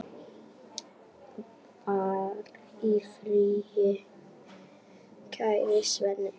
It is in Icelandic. Far í friði, kæri Svenni.